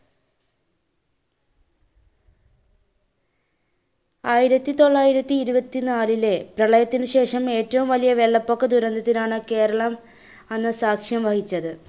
ആയിരത്തി തൊള്ളായിരത്തി ഇരുപത്തിനാലിലെ പ്രളയത്തിന് ശേഷം ഏറ്റവും വലിയ വെള്ളപ്പൊക്ക ദുരന്തത്തിനാണ് കേരളം അന്ന് സാക്ഷ്യം വഹിചത്.